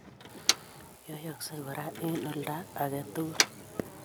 Yoiyoksee koraa eng' oldo agetugul